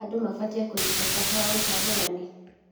Andũ mabatiĩ kũnyita bata wa ũcagũrani.